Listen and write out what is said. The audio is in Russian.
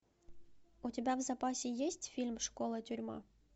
у тебя в запасе есть фильм школа тюрьма